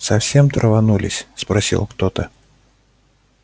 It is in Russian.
совсем траванулись спросил кто-то